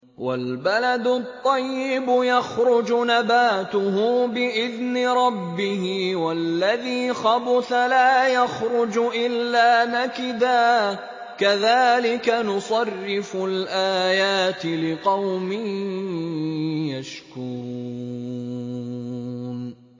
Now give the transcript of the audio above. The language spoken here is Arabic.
وَالْبَلَدُ الطَّيِّبُ يَخْرُجُ نَبَاتُهُ بِإِذْنِ رَبِّهِ ۖ وَالَّذِي خَبُثَ لَا يَخْرُجُ إِلَّا نَكِدًا ۚ كَذَٰلِكَ نُصَرِّفُ الْآيَاتِ لِقَوْمٍ يَشْكُرُونَ